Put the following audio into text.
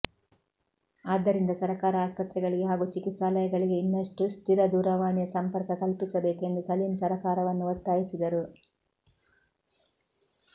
ಆದ್ದರಿಂದ ಸರಕಾರ ಆಸ್ಪತ್ರೆಗಳಿಗೆ ಹಾಗೂ ಚಿಕಿತ್ಸಾಲಯಗಳಿಗೆ ಇನ್ನಷ್ಟು ಸ್ಥಿರ ದೂರವಾಣಿಯ ಸಂಪರ್ಕ ಕಲ್ಪಿಸಬೇಕು ಎಂದು ಸಲೀಂ ಸರಕಾರವನ್ನು ಒತ್ತಾಯಿಸಿದರು